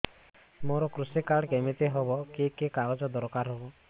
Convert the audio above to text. ମୋର କୃଷି କାର୍ଡ କିମିତି ହବ କି କି କାଗଜ ଦରକାର ହବ